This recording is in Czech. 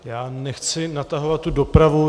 Já nechci natahovat tu dopravu.